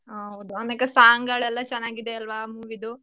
ಹೌದು ಆಮೇಕೆ song ಗಳೆಲ್ಲ ಚೆನ್ನಾಗಿದೆ ಅಲ್ವಾ ಆ movies ದು.